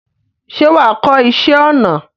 ṣé wà á kọ́ iṣẹ́ ọnà?